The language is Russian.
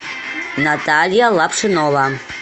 наталья лапшинова